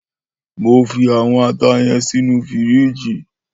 Mó fi áwòn àtá yèn sinú fírìjí